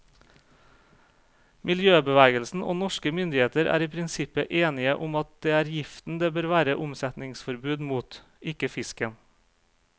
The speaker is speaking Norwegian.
Miljøbevegelsen og norske myndigheter er i prinsippet enige om at det er giften det bør være omsetningsforbud mot, ikke fisken.